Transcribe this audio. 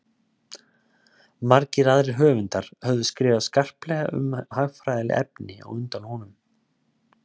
margir aðrir höfundar höfðu skrifað skarplega um hagfræðileg efni á undan honum